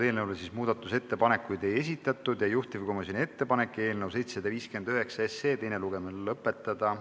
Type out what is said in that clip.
Eelnõule muudatusettepanekuid ei esitatud ja juhtivkomisjoni ettepanek on eelnõu 759 teine lugemine lõpetada.